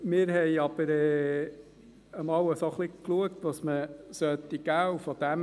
Wir haben uns einmal angeschaut, was man geben sollte.